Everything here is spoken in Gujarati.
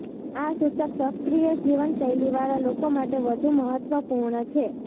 આ સૂચક સક્રિય જીવનશૈલીવાળા લોકો માટે વધુ મહત્વપૂર્ણ છે